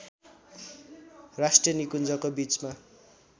राष्ट्रिय निकुन्जको बीचमा